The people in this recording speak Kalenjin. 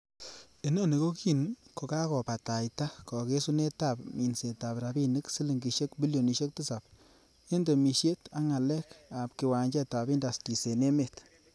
Inoni ko kin ko kakobataita kogesunetab minsetab rabinik silingisiek bilionisiek Tisap en temisiet ak ngalek ab kiwanjetab indastris en emet.